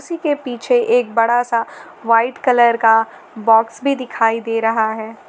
इसी के पीछे एक बड़ा सा व्हाइट कलर का बॉक्स भी दिखाई दे रहा है।